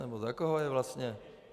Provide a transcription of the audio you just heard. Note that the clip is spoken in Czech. Nebo za koho je vlastně?